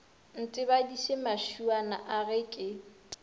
ntebaditše mašuana a ge ke